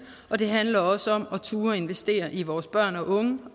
og det handler også om at turde investere i vores børn og unge